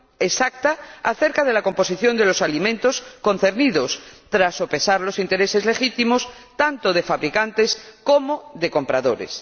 exacta acerca de la composición de los alimentos concernidos, tras sopesar los intereses legítimos tanto de fabricantes como de compradores.